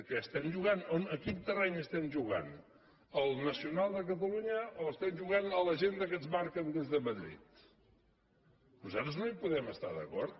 clar escolti en quin terreny estem jugant al nacional de catalunya o estem jugant a l’agenda que ens marquen des de madrid nosaltres no hi podem estar d’acord